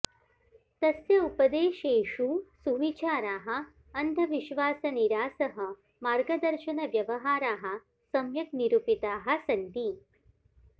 तस्य उपदेशेषु सुविचाराः अन्धविश्वासनिरासः मार्गदर्शनव्यवहाराः सम्यक् निरुपिताः सन्ति